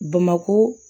Bamako